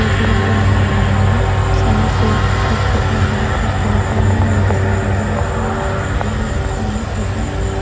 बोतल लगी नजर आ रही है सब में सीट है सीट के पास ग्लूकोस की बोतल लगी हुई है नीचे सैनिटाइजर रखा हुआ है कपड़ा भी रखा हुआ है पोंछने के लिए।